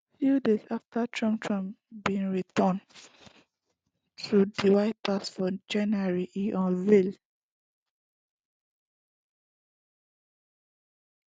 few days afta trump trump bin return to di white house for january e unveil